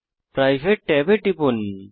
private ট্যাবে টিপুন